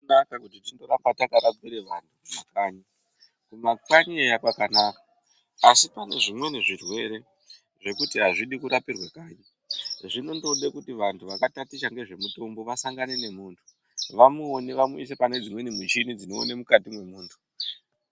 Zvakanaka kuti tindoramba takarapira vanthu kanyi. Kumakanyi eya kwakanaka asi pane zvimweni zvirwere zvekuti hazvidi kurapirwa kanyi. Zvinondoda kuti vanthu vakataticha ngezvemutombo vasangane nemunthu vamuone vamuise pane dzimweni mishini dzinoona mukati mumunthu.